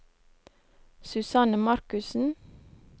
Susanne Markussen